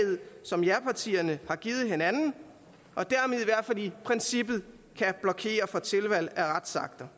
som japartierne har givet hinanden og dermed i hvert fald i princippet kan blokere for tilvalg af retsakter